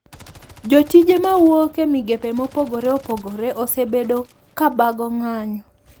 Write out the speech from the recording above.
Jotije mawuok e migepe mopogore opogore osebedo kabago ng`anyo.